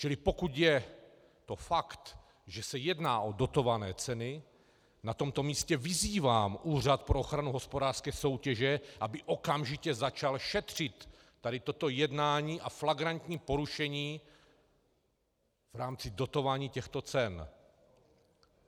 Čili pokud je to fakt, že se jedná o dotované ceny, na tomto místě vyzývám Úřad pro ochranu hospodářské soutěže, aby okamžitě začal šetřit tady toto jednání a flagrantní porušení v rámci dotování těchto cen.